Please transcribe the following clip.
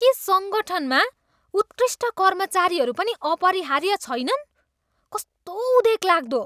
के सङ्गठनमा उत्कृष्ट कर्मचारीहरू पनि अपरिहार्य छैनन्? कस्तो उदेकलाग्दो?